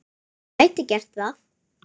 Ég gæti gert það.